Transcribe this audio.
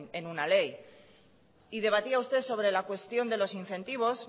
en una ley y debatía usted sobre la cuestión de los incentivos